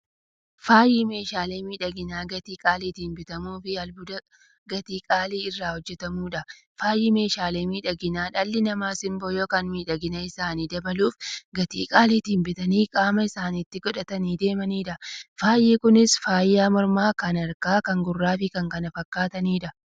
Faayyi meeshaalee miidhaginaa gatii qaalitiin bitamuufi albuuda gatii qaalii irraa hojjatamuudha. Faayyi meeshaalee miidhaginaa, dhalli namaa simboo yookiin miidhagina isaanii dabaluuf, gatii qaalitiin bitanii qaama isaanitti qodhatanii deemaniidha. Faayyi Kunis; faaya mormaa, kan harkaa, kan gurraafi kan kana fakkataniidha.